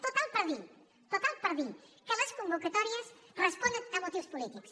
total per dir total per dir que les convocatòries responen a motius polítics